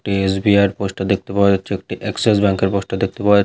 একটি এস.বি.আই. -এর পোস্টার দেখতে পাওয়া যাচ্ছে । একটি এক্সিস ব্যাঙ্ক -এর পোস্টার দেখতে পাওয়া যা --